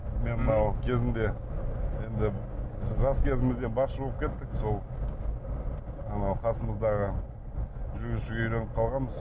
мен мынау кезінде енді жас кезімізде басшы болып кеттік сол анау қасымыздағы жүргізушіге үйреніп қалғанбыз